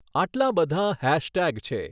આટલાં બધાં હૅશટૅગ છે!